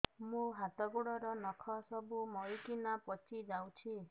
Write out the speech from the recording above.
ମୋ ହାତ ଗୋଡର ନଖ ସବୁ ମରିକିନା ପଚି ଯାଉଛି